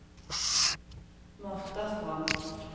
Martha Strand